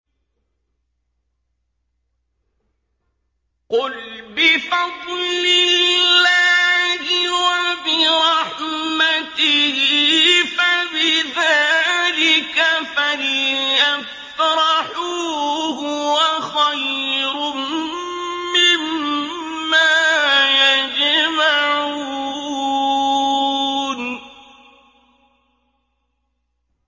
قُلْ بِفَضْلِ اللَّهِ وَبِرَحْمَتِهِ فَبِذَٰلِكَ فَلْيَفْرَحُوا هُوَ خَيْرٌ مِّمَّا يَجْمَعُونَ